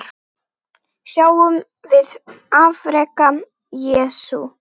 Sjáum við afrek Jesú?